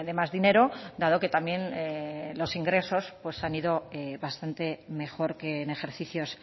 más dinero dado que también los ingresos han ido bastante mejor que en ejercicios